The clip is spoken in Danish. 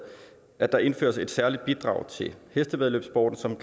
at der indføres et særligt bidrag til hestevæddeløbssporten som